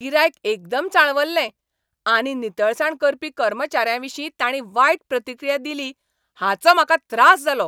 गिरायक एकदम चाळवल्लें आनी नितळसाण करपी कर्मचाऱ्यांविशीं ताणीं वायट प्रतिक्रिया दिली हाचो म्हाका त्रास जालो.